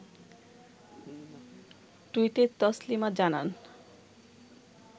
টুইটে তসলিমা জানান